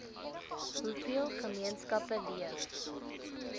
hoeveel gemeenskappe leef